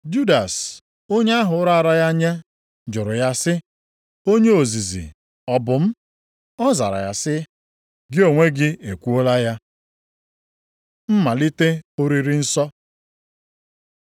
Judas, onye ahụ raara ya nye jụrụ ya sị, “Onye ozizi ọ bụ m?” Ọ zara sị, “Gị onwe gị ekwuola ya.” Mmalite oriri nsọ